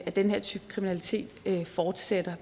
at den her type kriminalitet fortsætter